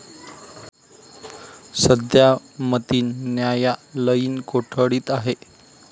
सध्या मतीन न्यायालयीन कोठडीत आहे.